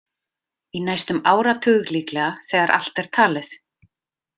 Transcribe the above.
Í næstum áratug líklega þegar allt er talið.